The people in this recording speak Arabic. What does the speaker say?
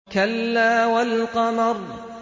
كَلَّا وَالْقَمَرِ